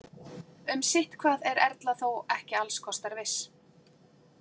Um sitthvað er Erla þó ekki alls kostar viss.